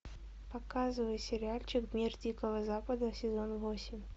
показывай сериальчик мир дикого запада сезон восемь